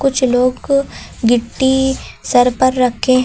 नीचे लोग गिट्टी सर पर रखे हैं।